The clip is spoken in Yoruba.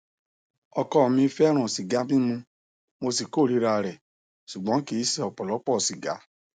ọkọ mi fẹràn sìgá mímu mo sì kórìíra rẹ ṣùgbọn kì í ṣe ọpọlọpọ sìgá